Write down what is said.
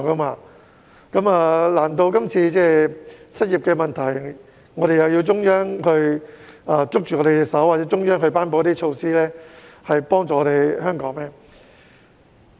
面對這次的失業問題，難道我們也要中央握着手或頒布一些措施來幫助香港嗎？